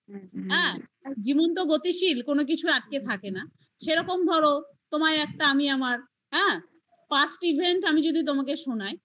হ্যাঁ আর জীবন্ত গতিশীল কোনো কিছু আটকে থাকে না সেরকম ধর তোমায় একটা আমি আমার হ্যাঁ past event আমি যদি তোমাকে শোনাই